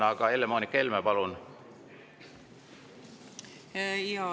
Aga Helle-Moonika Helme, palun!